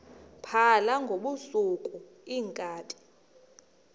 phala ngobusuku iinkabi